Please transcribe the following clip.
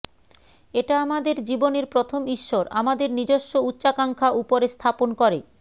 এটা আমাদের জীবনের প্রথম ঈশ্বর আমাদের নিজস্ব উচ্চাকাঙ্ক্ষা উপরে স্থাপন করে